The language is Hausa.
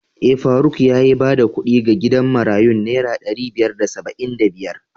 Eh, faruk yayi bada kuɗi ga gidan marayun naira ɗari biyar da saba'in da biyar.